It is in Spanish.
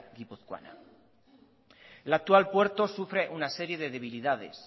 guipuzcoana el actual puerto sufre una serie de debilidades